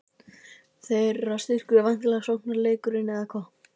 Þeirra styrkur er væntanlega sóknarleikurinn, eða hvað?